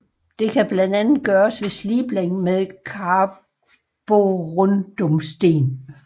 Det kan blandt andet gøres ved slibning med karborundumsten